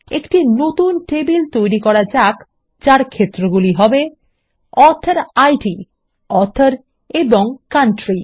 একটি নতুন টেবিল তৈরি করা যাক যার ক্ষেত্রগুলি হবে অথরিড অথর এবং কাউন্ট্রি